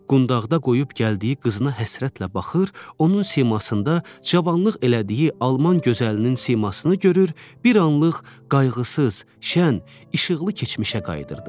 Qundağda qoyub gəldiyi qızına həsrətlə baxır, onun simasında cavanlıq elədiyi Alman gözəlinin simasını görür, bir anlıq qayğısız, şən, işıqlı keçmişə qayıdırdı.